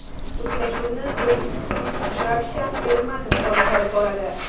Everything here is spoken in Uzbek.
Uchrashuvni o‘zbekistonlik Ravshan Ermatov boshqarib boradi.